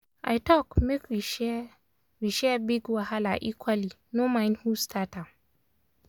i talk make we share we share big wahala equally no mind who start am.